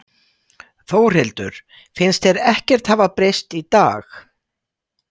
Þórhildur: Finnst þér ekkert hafa breyst í dag?